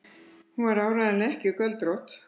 Hún var áreiðanlega ekki göldrótt.